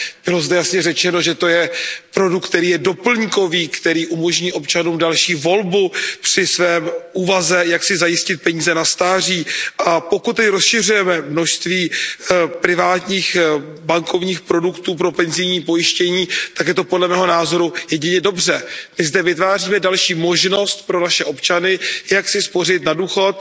Bylo zde jasně řečeno, že je to produkt, který je doplňkový, který umožní občanům další volbu při své úvaze, jak si zajistit peníze na stáří, a pokud rozšiřujeme množství privátních bankovních produktů pro penzijní pojištění, tak je to podle mého názoru jedině dobře. My zde vytváříme další možnost pro naše občany, jak si spořit na důchod.